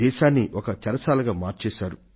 దేశాన్ని ఒక చెరసాలగా మార్చాశారు